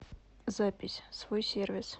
запись свой сервис